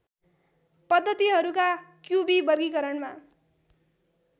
पद्धतिहरूका क्युबी वर्गीकरणमा